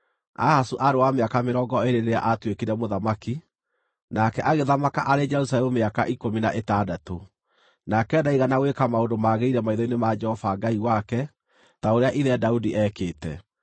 Ahazu aarĩ wa mĩaka mĩrongo ĩĩrĩ rĩrĩa aatuĩkire mũthamaki, nake agĩthamaka arĩ Jerusalemu mĩaka ikũmi na ĩtandatũ. Nake ndaigana gwĩka maũndũ magĩrĩire maitho-inĩ ma Jehova Ngai wake, ta ũrĩa ithe Daudi eekĩte.